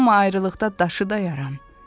Amma ayrılıqda daşı dayaram.